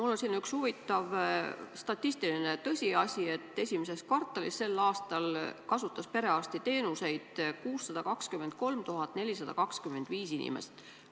Mul on teada üks selline huvitav statistiline tõsiasi, et esimeses kvartalis sel aastal kasutas perearstiteenuseid 623 425 inimest.